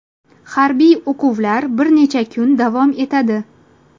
Harbiy o‘quvlar bir necha kun davom etadi.